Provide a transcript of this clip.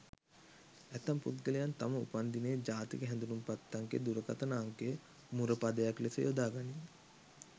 ඇතැම් පුද්ගලයන් තම උපන්දිනය ජාතික හැඳුනුම්පත් අංකය දුරකථන අංකය මුර පදයක් ලෙස යොදා ගනී.